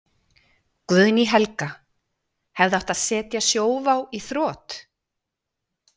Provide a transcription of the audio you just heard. Guðný Helga: Hefði átt að setja Sjóvá í þrot?